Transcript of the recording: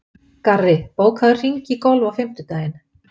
Garri, bókaðu hring í golf á fimmtudaginn.